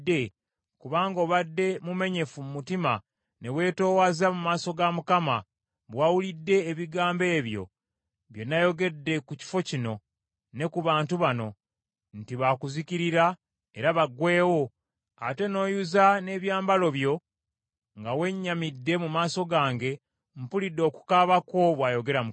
kubanga obadde mumenyefu mu mutima ne weetoowaza mu maaso ga Mukama bwe wawulidde ebigambo ebyo bye nayogedde ku kifo kino ne ku bantu bano, nti baakuzikirira era baggweewo, ate n’oyuza n’ebyambalo byo nga wennyamidde mu maaso gange, mpulidde okukaaba kwo, bw’ayogera Mukama .